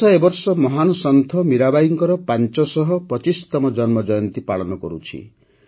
ଦେଶ ଏ ବର୍ଷ ମହାନ୍ ସନ୍ଥ ମୀରାବାଈଙ୍କର ପାଞ୍ଚଶହ ପଚିଶତମ ଜନ୍ମଜୟନ୍ତୀ ପାଳନ କରୁଛି